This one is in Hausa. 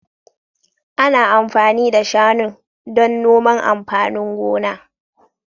Ana amfani da shanun don noman amfanin gona.